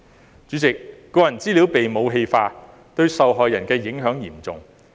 代理主席，個人資料被"武器化"，對受害人的影響嚴重。